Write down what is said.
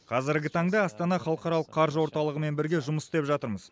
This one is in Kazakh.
қазіргі таңда астана халықаралық қаржы орталығымен бірге жұмыс істеп жатырмыз